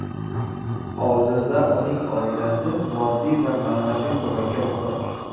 Hozirda uning oilasi moddiy va ma’naviy ko‘makka muhtoj.